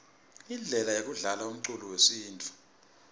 indlele yekudlalaumculo wesintfu